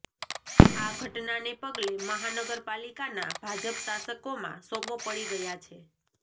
આ ઘટનાને પગલે મહાનગર પાલિકાના ભાજપ શાસકોમાં સોપો પડી ગયા છે